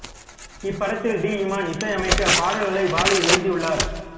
இந்த படத்தில் டி இமான் இசையமைக்க பாடல்களை வாலி எழுதியுள்ளார்